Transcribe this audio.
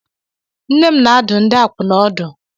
Nne m na-adụ ndị akwụna ọdụ.